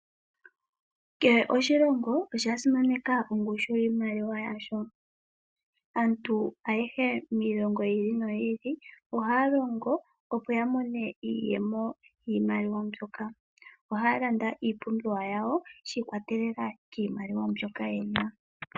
Kehe oshilongo osha simaneka ongushu yiimaliwa yasho. Aantu ayehe miilongo yi ili noyi ili ohaya longo opo ya mone iiyemo yiimaliwa mbyoka. Ohaya landa iipumbiwa yawo shi ikwatelela kiimaliwa mbyoka yena.